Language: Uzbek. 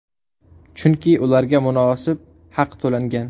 Chunki ularga munosib haq to‘langan.